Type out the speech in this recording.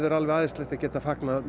alveg æðislegt að geta fagnað